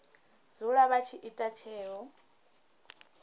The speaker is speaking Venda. dzula vha tshi ita tsheo